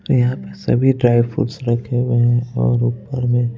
यहां पे सभी ड्राई फ्रूट्स रखे हुए हैं और ऊपर में --